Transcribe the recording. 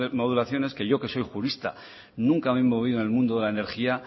modulaciones que yo que soy jurista nunca me he movido en el mundo de la energía